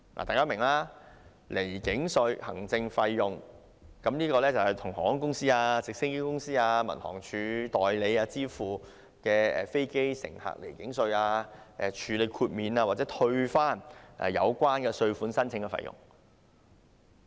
大家明白，離境稅行政費用，用以向航空公司、直升機公司和民航處代理支付代收飛機乘客離境稅、處理豁免及退回有關稅款申請的費用。